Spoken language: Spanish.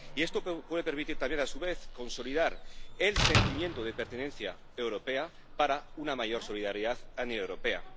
Y esto puede permitir también, a su vez, consolidar el sentimiento de pertenencia europea para una mayor solidaridad paneuropea.